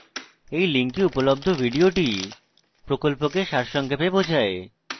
এই link উপলব্ধ video প্রকল্পকে সারসংক্ষেপে বোঝায়